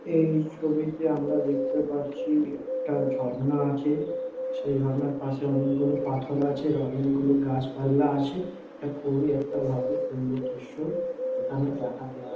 এই ছবিতে আমরা দেখতে পারছি একটা ঝর্ণা আছে। সেই ঝর্ণার পশে অনেক গুলো পাথর আছে অনেক গুলো গাছ পাল্লা আছে। টা খুবই একটা ভালো সুন্দর দৃশ্য। এখানে দেখা যায়।